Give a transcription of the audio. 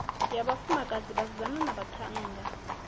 na vhafumakadzi vhasidzana na vhaṱhannga